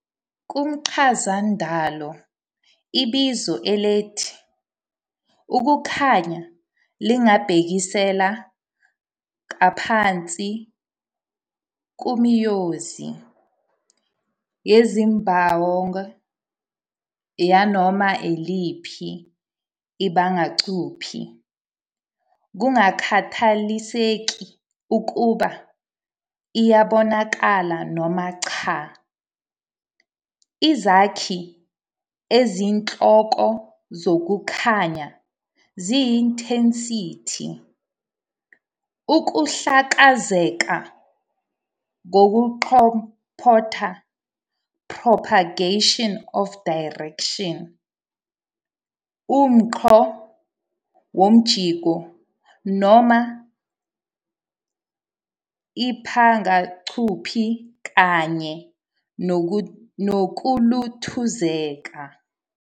Kumchazandalo, ibizo elithi "ukukhanya" lingabhekisela kabanzi kumiyonzi yenzubawonga yanoma iliphi ibangacuphi, kungakhathaliseki ukuba iyabonakala noma cha. Izakhi eziyinhloko zokukhanya ziyi-intensity, ukuhlakazeka kokuqombotha, propagation of direction, umungco womjingo noma ibangacuphi kanye nokuluthuzeka.